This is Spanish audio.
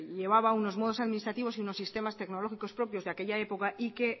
llevaba unos modos administrativos y unos sistema tecnológicos propios de aquella época y que